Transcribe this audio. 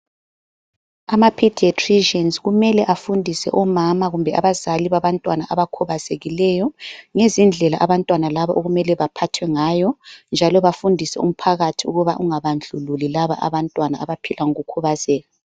Ama pediatricians kumele afundise omama kumbe abazali babantwana abakhubazekileyo ngezindlela abantwana labo okumele bephathwe ngayo. Njalo bafundise umphakathi ukuthi bengabandlululi laba bantwana abaphila ngokukhubazeka.